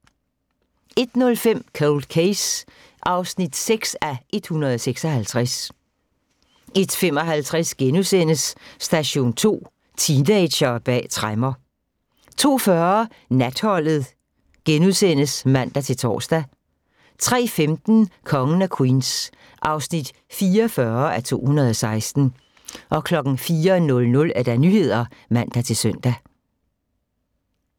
01:05: Cold Case (6:156) 01:55: Station 2: Teenagere bag tremmer * 02:40: Natholdet *(man-tor) 03:15: Kongen af Queens (44:216) 04:00: Nyhederne (man-søn)